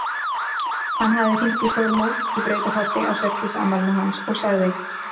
Hann hafði hringt í Þormóð í Brautarholti á sextugsafmælinu hans og sagði